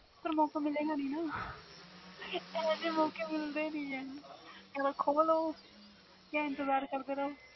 ਇਹੋ ਜਿਹਾ ਮੌਕੇ ਮਿਲਦੇ ਨਹੀਂ ਜਾ ਤਾ ਖੋ ਲੋ ਜਾ ਇੰਤਜ਼ਾਰ ਕਰੋ